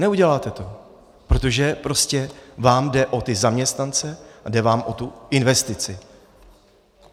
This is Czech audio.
Neuděláte to, protože prostě vám jde o ty zaměstnance a jde vám o tu investici.